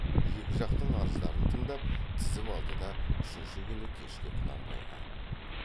екі жақтың арыздарын тыңдап тізіп алды да үшінші күн кешке құнанбайға